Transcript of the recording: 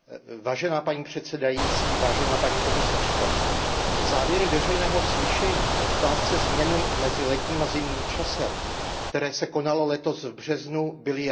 Paní předsedající, paní komisařko, závěry veřejného slyšení k otázce změny mezi letním a zimním časem, které se konalo letos v březnu, byly jasné.